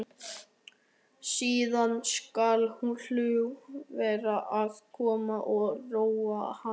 Síðan skal hlúa vel að honum og róa hann.